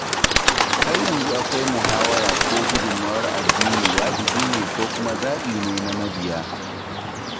Har yanzu akwai muhawara ko gudunmawar addini wajibi ne ko kuma zaɓi ne na mabiya.